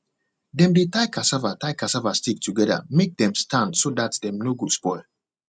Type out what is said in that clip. dem de tie cassava tie cassava stick together make them stand so that dem no go spoil